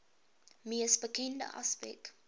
mees bekende aspek